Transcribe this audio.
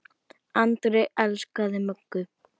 Andri elskaði Möggu.